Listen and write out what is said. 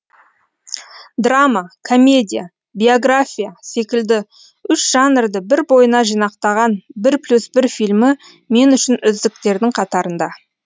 драма комедия биография секілді үш жанрды бір бойына жинақтаған бір плюс бір фильмі мен үшін үздіктердің қатарында